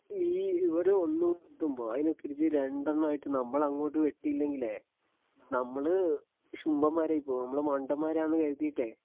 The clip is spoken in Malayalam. ഈ ഇവര് ഒന്നു വെട്ടുമ്പോ അതിന് തിരിച്ച് രണ്ടെണ്ണം ആയിട്ട് നമ്മളങ്ങോട്ട് വെട്ടിയില്ലെങ്കിലേ നമ്മള് ശുംഭന്മാരായി പോവും നമ്മള് മണ്ടന്മാരാന്ന് കരുതിയിട്ടേ